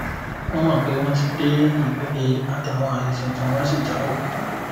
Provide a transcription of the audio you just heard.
wọn mọ pé wọn ti dé ipele àtàwọn ààyè tuntun wọn sì jáwọ